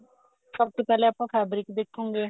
ਸਭ ਤੋਂ ਪਹਿਲੇ ਆਪਾਂ fabric ਦੇਖੋਗੇ